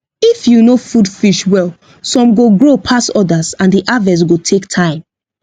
if you no food fish well some go grow pass others and the harvest go take time